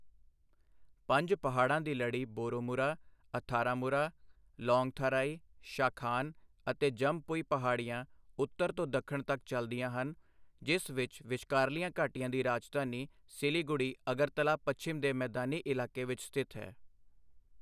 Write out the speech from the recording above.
ਪੰਜ ਪਹਾੜਾਂ ਦੀ ਲੜੀ ਬੋਰੋਮੁਰਾ ਅਥਾਰਾਮੁਰਾ ਲੌਂਗਥਾਰਾਈ ਸ਼ਾਖਾਨ ਅਤੇ ਜੰਮਪੁਈ ਪਹਾੜੀਆਂ ਉੱਤਰ ਤੋਂ ਦੱਖਣ ਤੱਕ ਚੱਲਦੀਆਂ ਹਨ ਜਿਸ ਵਿੱਚ ਵਿਚਕਾਰਲੀਆਂ ਘਾਟੀਆਂ ਦੀ ਰਾਜਧਾਨੀ ਸਿਲੀਗੁੜੀ ਅਗਰਤਲਾ ਪੱਛਮ ਦੇ ਮੈਦਾਨੀ ਇਲਾਕੇ ਵਿੱਚ ਸਥਿਤ ਹੈ।